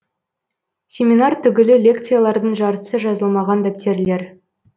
семинар түгілі лекциялардың жартысы жазылмаған дәптерлер